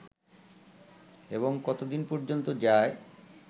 এবং কতদিন পর্যন্ত যায়